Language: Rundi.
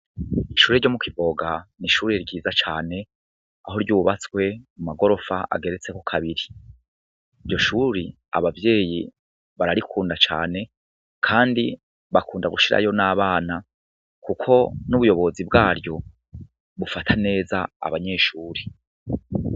Ishure ryo mu Kivoga n'ishure ryiza cane, aho ryubatswe mu magorofa ageretseko kabiri, iryo shure abavyeyi bararikunda cane, kandi bakunda gushiraho n'abana, kuko n'ubuyobozi bwayo bufata neza abanyeshure.